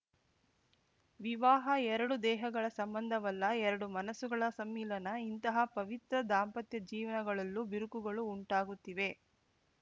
ವಿವಾಹ ಎರಡು ದೇಹಗಳ ಸಂಬಂಧವಲ್ಲ ಎರಡು ಮನಸ್ಸುಗಳ ಸಮ್ಮಿಲನ ಇಂತಹ ಪವಿತ್ರ ದಾಂಪತ್ಯ ಜೀವನಗಳಲ್ಲೂ ಬಿರುಕುಗಳು ಉಂಟಾಗುತ್ತಿವೆ